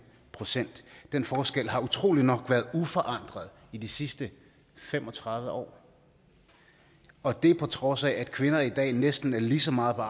procent den forskel har utrolig nok været uforandret i de sidste fem og tredive år og det på trods af at kvinder i dag næsten er lige så meget på